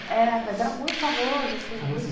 É, mas era muito famoso assim.